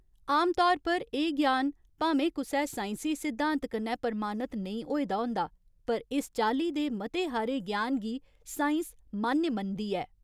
आमतौर पर एह् ज्ञान भामें कुसै साइंसी सिद्धांत कन्नै प्रमाणत नेईं होए दा होंदा, पर इस चाल्ली दे मते हारे ज्ञान गी साइंस मान्य मनदी ऐ।